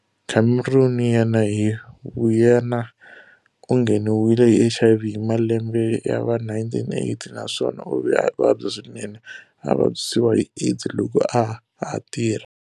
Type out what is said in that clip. Cameron yena hi vuyena u ngheniwile hi HIV hi malembe ya va 1980 na swona u ve a vabya swinene a vabyisiwa hi AIDS loko a ha tirha.